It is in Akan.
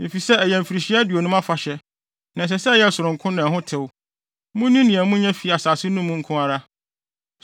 Efisɛ ɛyɛ mfirihyia aduonum afahyɛ, na ɛsɛ sɛ ɛyɛ sononko na ɛho tew. Munni nea munya fi asase no mu nko ara.